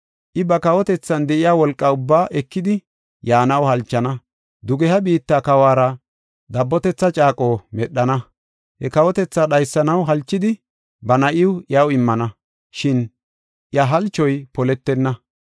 I ba kawotethan de7iya wolqa ubbaa ekidi yaanaw halchana; dugeha biitta kawuwara dabbotetha caaqo medhana. He kawotethaa dhaysanaw halchidi, ba na7iw iyaw immana, shin iya halchoy poletenna.